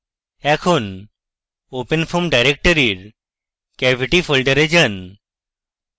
এখন openfoam directory এর cavity ফোল্ডারে যান